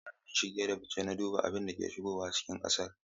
Jami'in shige da fice na duba abin da ke shigowa cikin kasar.